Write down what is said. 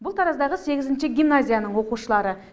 бұл тараздағы сегізінші гимназияның оқушылары